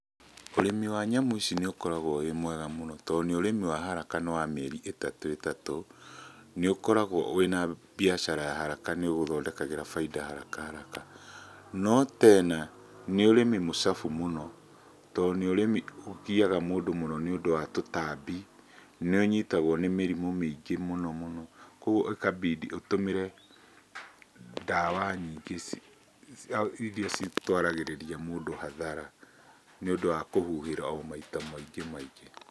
Ũrĩmi wa nyamũ ici nĩũkoragwo wĩ mwega mũno, tondũ nĩ ũrĩmi wa haraka nĩ wa mĩeri ĩtatũ ĩtatũ. Nĩũkoragwo wĩ na biacara ya haraka, nĩũgũthondekagĩra bainda haraka haraka. No tena nĩ ũrĩmi mũcabu mũno, tondũ nĩ ũrĩmi ũgiyaga mũndũ mũno nĩũndũ wa tũtambi, nĩũnyitagwo nĩ mĩrimũ mĩingĩ mũno mũno, koguo ĩkabidi ũtũmĩre ndawa nyingĩ iria citwaragithĩrĩria mũndũ hathara, nĩũndũ wa kũhuhĩra o maita maingĩ maingĩ.